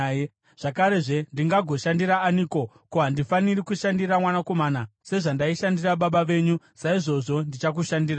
Zvakarezve, ndingagoshandira aniko? Ko, handifaniri kushandira mwanakomana? Sezvandaishandira baba venyu, saizvozvo ndichakushandirai.”